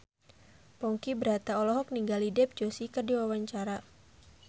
Ponky Brata olohok ningali Dev Joshi keur diwawancara